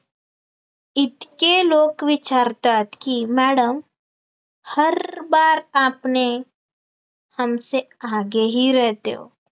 इतेक लोक विचारतात की, madam हर बार आपने हमेस आगे ही रहते हो